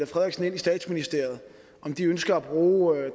frederiksen ind i statsministeriet om de ønsker at bruge